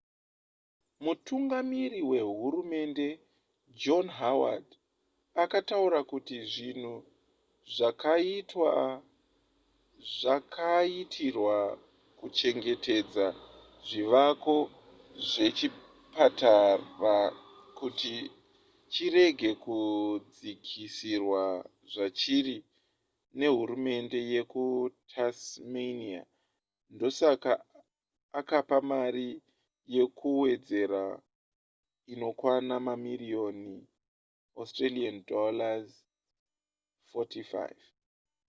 mutungamiri wehurumende john howard akataura kuti zvinhu zvakaitwa zvakaitirwa kuchengetedza zvivako zvechipatara kuti chirege kudzikisirwa zvachiri nehurumende yekutasmania ndosaka akapa mari yekuwedzera inokwana mamiriyoni aud$45